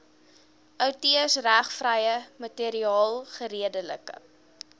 outeursregvrye materiaal geredelik